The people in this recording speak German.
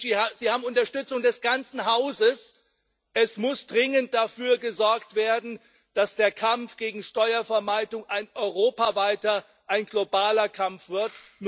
Herr Moscovici, Sie haben die Unterstützung des ganzen Hauses. Es muss dringend dafür gesorgt werden, dass der Kampf gegen Steuervermeidung ein europaweiter, ein globaler Kampf wird.